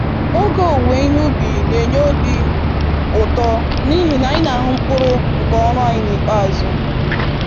Oge owuwe ihe ubi n'enye obi ụtọ n'ihi na anyị n'ahụ mkpụrụ nke ọrụ anyị n'ikpeazụ.